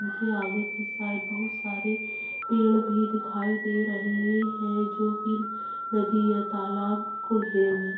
इनके आगे की साइड बहोत सारे पेड़ भी दिखाई दे रहे है जो की नदी या तालाब को घेरे हए है।